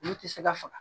Olu tɛ se ka faga